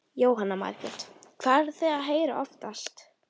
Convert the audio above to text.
Jóhanna Margrét: Hvað eruð þið að heyra oftast?